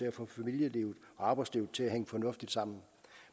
at få familielivet og arbejdslivet til at hænge fornuftigt sammen